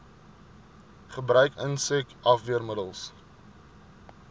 gebruik insek afweermiddels